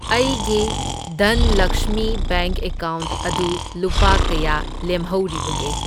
ꯑꯩꯒꯤ ꯙꯟꯂꯛꯁꯃꯤ bank account ꯑꯗꯨ ꯂꯨꯄꯥ ꯀꯌꯥ ꯂꯦꯝꯍꯧꯔꯤꯕꯒꯦ?